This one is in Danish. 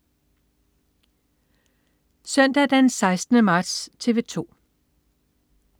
Søndag den 16. marts - TV 2: